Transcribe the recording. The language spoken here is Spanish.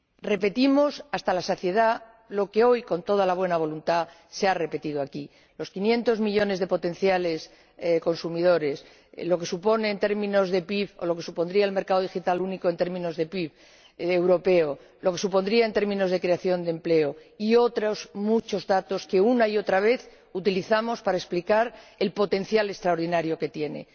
Repetimos hasta la saciedad lo que hoy, con toda la buena voluntad, se ha repetido aquí los quinientos millones de potenciales consumidores, lo que supone en términos de PIB o lo que supondría el mercado digital único en términos de PIB europeo, lo que supondría en términos de creación de empleo, y otros muchos datos que una y otra vez utilizamos para explicar el potencial extraordinario que tiene.